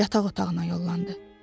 Yataq otağına yollandı.